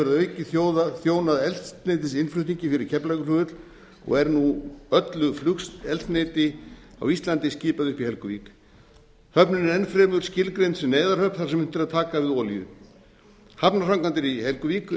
að auki þjónað eldsneytisinnflutningi fyrir keflavíkurflugvöll og er nú öllu flugeldsneyti á íslandi skipað upp í helguvík höfnin er enn fremur skilgreind sem neyðarhöfn þar sem unnt er að taka við olíu hafnarframkvæmdir í helguvík